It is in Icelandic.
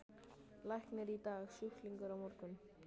Læknir í dag, sjúklingur á morgun.